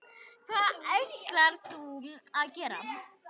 Hvað ætlar þú að gera?